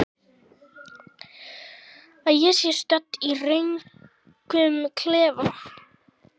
Að ég sé stödd í röngum klefa?